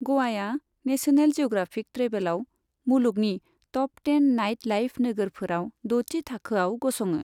ग'वाया National Geographic ट्रेभेलआव मुलुगनि top ten nightlife नोगोरफोराव द'थि थाखोआव गसङो।